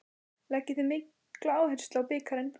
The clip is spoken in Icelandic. Leggið þið mikla áherslu á bikarinn?